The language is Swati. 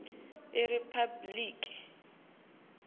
iriphabliki